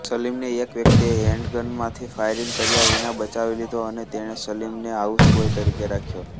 સલિમને એક વ્યક્તિએ હેન્ડગનમાંથી ફાયરિંગ કર્યા વિના બચાવી લીધો અને તેણે સલિમને હાઉસબોય તરીકે રાખ્યો